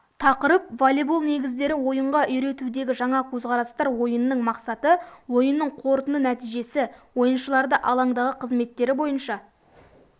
тақырып волейбол негіздері ойынға үйретудегі жаңа көзқарастар ойынның мақсаты ойынның қорытынды нәтижесі ойыншыларды алаңдағы қазметтері бойынша